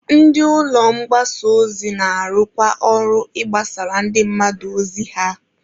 Ndị ụlọ mgbasa ozi na-arụkwa ọrụ ịgbasara ndị mmadụ ozi ha.